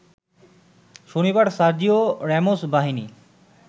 শনিবার Sergio Ramos বাহিনী